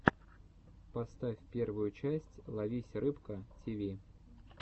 поставь первую часть ловись рыбка тиви